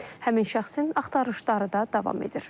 Həmin şəxsin axtarışları da davam edir.